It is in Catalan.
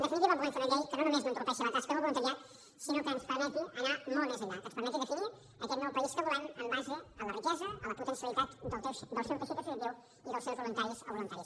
en definitiva volem fer una llei que no només no entorpeixi la tasca del voluntariat sinó que ens permeti anar molt més enllà que ens permeti definir aquest nou país que volem en base a la riquesa a la potencialitat del seu teixit associatiu i dels seus voluntaris o voluntàries